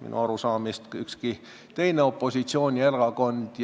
minu arusaamist pidi ei ole ka ükski teine opositsioonierakond.